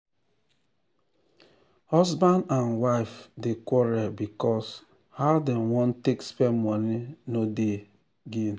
husband and wife dey quarrel because how dem wan take spend money no dey gel